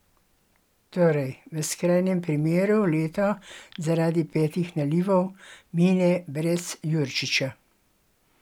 Torej v skrajnem primeru leto, zaradi petih nalivov, mine brez Jurčiča?